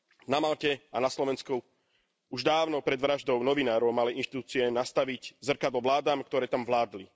Na Malte a na Slovensku už dávno pred vraždou novinárov mali inštitúcie nastaviť zrkadlo vládam, ktoré tam vládli.